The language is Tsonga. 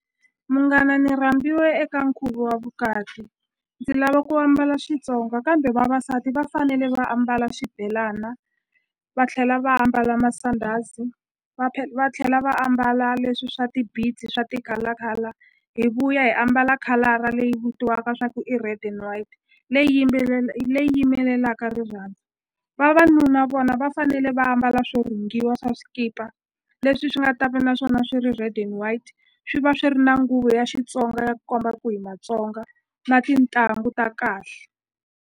Munghana ni rhambiwe eka nkhuvo wa vukati ndzi lava ku ambala Xitsonga kambe vavasati va fanele va ambala xibelana va tlhela va ambala masandhazi va va tlhela va ambala leswi swa swa ti-color color hi vuya hi ambala khalara leyi vitiwaka swa ku i red and white leyi leyi yimelelaka rirhandzu vavanuna vona va fanele va ambala swo rhungiwa swa swikipa leswi swi nga ta va na swona swi ri red and white swi va swi ri na nguvu ya Xitsonga ya ku komba ku hi Matsonga na tintangu ta kahle.